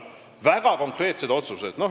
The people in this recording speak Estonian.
Need on väga konkreetsed otsused.